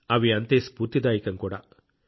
అవి అంతే స్ఫూర్తిదాయకం కూడా